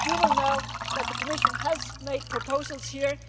that. You will know that the Commission has made proposals